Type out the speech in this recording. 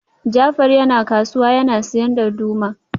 Jafar yana kasuwa yana siyan darduma